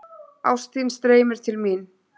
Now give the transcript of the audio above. Ást þín streymir til mín.